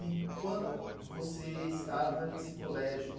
E quando você estava nesse colégio...